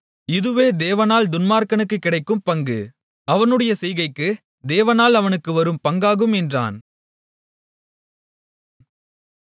இதுவே தேவனால் துன்மார்க்கனுக்குக் கிடைக்கும் பங்கும் அவனுடைய செய்கைக்கு தேவனால் அவனுக்கு வரும் பங்காகும் என்றான்